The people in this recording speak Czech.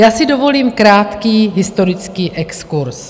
Já si dovolím krátký historický exkurz.